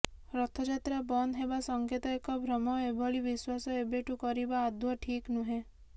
ରଥଯାତ୍ରା ବନ୍ଦ ହେବା ସଂକେତ ଏକ ଭ୍ରମ ଏଭଳି ବିଶ୍ୱାସ ଏବେଠୁ କରିବା ଆଦୌ ଠିକ୍ ନୁହେଁ